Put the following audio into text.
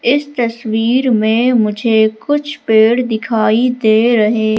इस तस्वीर में मुझे कुछ पेड़ दिखाई दे रहे--